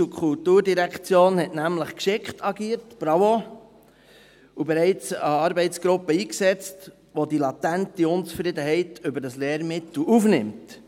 Die BKD hat nämlich geschickt agiert – bravo! – und bereits eine Arbeitsgruppe eingesetzt, welche die latente Unzufriedenheit über dieses Lehrmittel aufnimmt.